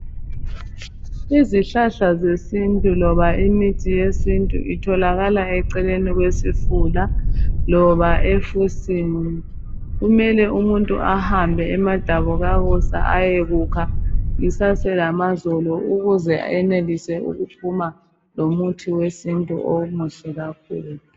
Izihlahla zesintu loba imithi yesintu itholakala eceleni kwesifula loba efusini kumele umuntu ehambe emadabukakusa isaselamazolo ukuze ayenelise ukuphuma lomuthi wesintu omuhle kakhulu